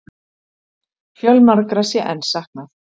Fjölmargra sé enn saknað